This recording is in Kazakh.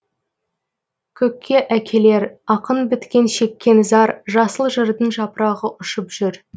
көкке әкелер ақын біткен шеккен зар жасыл жырдың жапырағы ұшып жүр